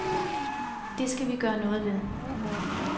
Det skal vi gøre noget ved.